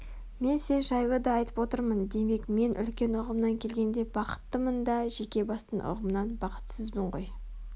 мен сен жайлы да айтып отырмын демек мен үлкен ұғымнан келгенде бақыттымын да жеке бастың ұғымынан бақытсызбын ғой